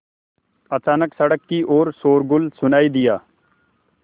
अचानक सड़क की ओर शोरगुल सुनाई दिया